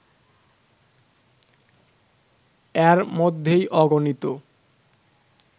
এর মধ্যেই অগণিত